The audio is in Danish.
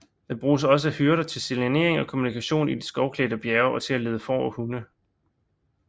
Det bruges også af hyrder til signalering og kommunikation i de skovklædte bjerge og til at lede får og hunde